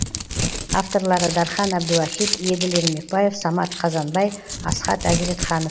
авторлары дархан әбдуахит еділ ермекбаев самат қазанбай асхат әзіретханов